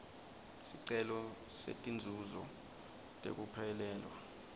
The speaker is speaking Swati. sicelo setinzuzo tekuphelelwa